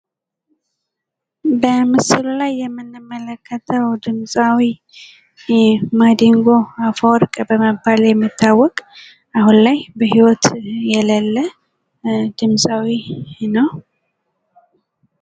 በምስሉ ላይ የምንመለከተው ድምፃዊ ማዲንጎ አፈወርቅ በመባል የሚታወቅ አሁን ላይ በሂወት የሌለ ድምፃዊ ነው ።